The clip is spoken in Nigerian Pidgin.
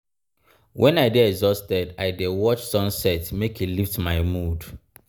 wen i dey exhausted i dey watch sunset make e lift my mood.